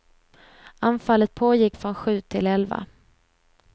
Anfallet pågick från sju till elva.